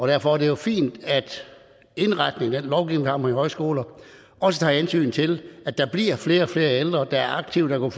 derfor er det jo fint at indretningen af den lovgivning vi har med højskoler også tager hensyn til at der bliver flere og flere ældre der er aktive og